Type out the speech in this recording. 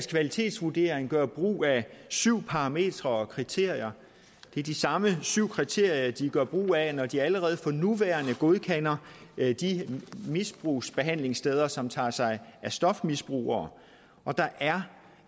kvalitetsvurdering gøre brug af syv parametre og kriterier det er de samme syv kriterier de gør brug af når de allerede for nuværende godkender de misbrugsbehandlingssteder som tager sig af stofmisbrugere der er